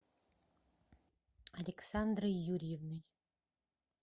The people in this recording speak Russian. александрой юрьевной